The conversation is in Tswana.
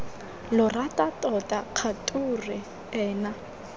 lo rata tota kgature ena